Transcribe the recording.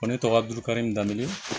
Ko ne tɔgɔ durukari in daminɛ